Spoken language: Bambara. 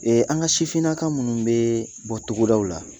Ee an ka sifinnaka minnu bɛ bɔ togodaw la